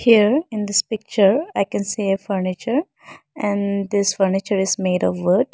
here in this picture i can see a furniture and this furniture is made of wood.